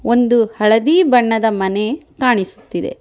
ಒಂದು ಹಳದಿ ಬಣ್ಣದ ಮನೆ ಕಾಣಿಸುತ್ತಿದೆ.